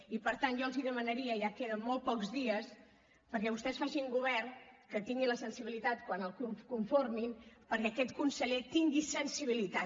i per tant jo els hi demanaria ja queden molt pocs dies perquè vostès facin un govern que tingui la sensibilitat quan el conformin perquè aquest conseller tingui sensibilitat